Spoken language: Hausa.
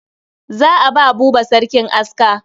Za a ba Buba sarkin aska.